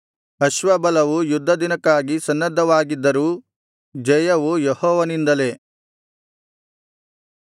ಅಶ್ವಬಲವು ಯುದ್ಧದಿನಕ್ಕಾಗಿ ಸನ್ನದ್ಧವಾಗಿದ್ದರೂ ಜಯವು ಯೆಹೋವನಿಂದಲೇ